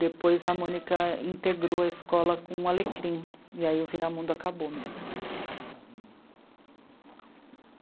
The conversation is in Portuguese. Depois a Mônica integrou a escola com o Alecrim, e aí o Viramundo acabou mesmo.